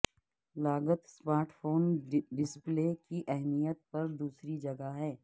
لاگت smart phone display کی اہمیت پر دوسری جگہ میں